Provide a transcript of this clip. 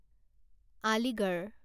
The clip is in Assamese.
আলিগড়